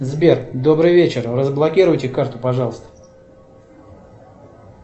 сбер добрый вечер разблокируйте карту пожалуйста